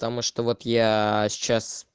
потому что вот яя сейчас